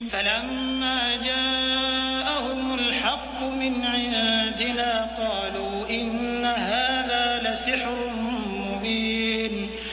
فَلَمَّا جَاءَهُمُ الْحَقُّ مِنْ عِندِنَا قَالُوا إِنَّ هَٰذَا لَسِحْرٌ مُّبِينٌ